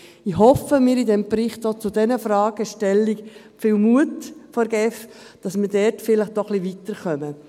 Ich erhoffe mir von diesem Bericht auch zu diesen Fragen eine Stellungnahme und viel Mut der GEF, damit man dort vielleicht ein bisschen weiterkommt.